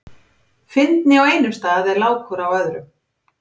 Fyndni á einum stað er lágkúra á öðrum.